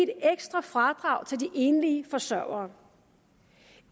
ekstra fradrag til de enlige forsørgere